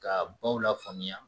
K'a baw lafaamuya